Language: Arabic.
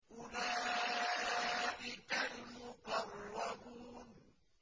أُولَٰئِكَ الْمُقَرَّبُونَ